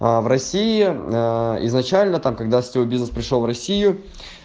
в россии изначально там когда все бизнес пришёл в россию